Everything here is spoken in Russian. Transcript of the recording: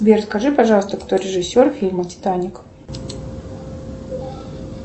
сбер скажи пожалуйста кто режиссер фильма титаник